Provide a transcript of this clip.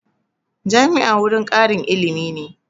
Jami'a wurin ƙarin ilimi ne